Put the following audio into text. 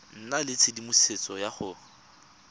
nna le tshedimosetso ya go